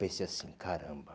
Pensei assim, caramba.